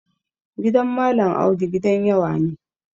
Gidan Malam Audu gidan yawa ne.